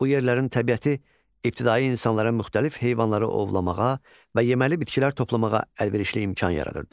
Bu yerlərin təbiəti ibtidai insanlara müxtəlif heyvanları ovlamağa və yeməli bitkilər toplamağa əlverişli imkan yaradırdı.